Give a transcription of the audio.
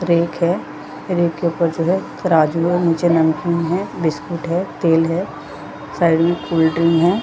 Rack है rack के ऊपर जो है तराजू है नीचे नमकीन है बिस्किट है तेल है शायद ये कोल्ड ड्रिंक है।